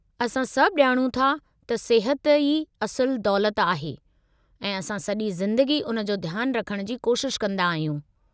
असां सभु ॼाणूं था त सिहत ई असुलु दौलत आहे, ऐं असां सॼी ज़िंदगी उन जो ध्यानु रखण जी कोशिश कंदा आहियूं।